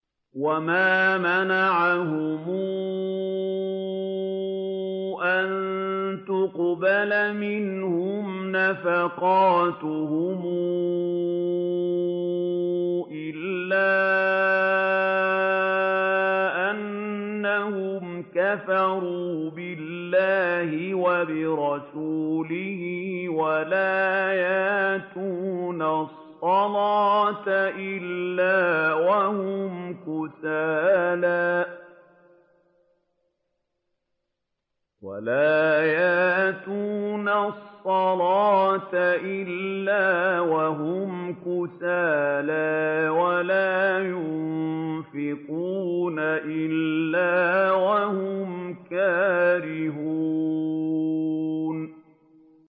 وَمَا مَنَعَهُمْ أَن تُقْبَلَ مِنْهُمْ نَفَقَاتُهُمْ إِلَّا أَنَّهُمْ كَفَرُوا بِاللَّهِ وَبِرَسُولِهِ وَلَا يَأْتُونَ الصَّلَاةَ إِلَّا وَهُمْ كُسَالَىٰ وَلَا يُنفِقُونَ إِلَّا وَهُمْ كَارِهُونَ